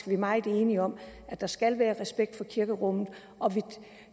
vi er meget enige om at der skal være respekt for kirkerummet